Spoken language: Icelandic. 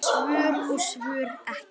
Svör og svör ekki.